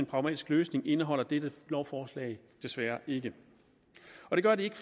pragmatisk løsning indeholder dette lovforslag desværre ikke det gør det ikke